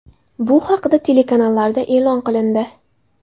Bu haqda telekanallarda e’lon qilindi.